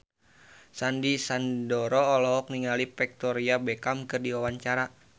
Sandy Sandoro olohok ningali Victoria Beckham keur diwawancara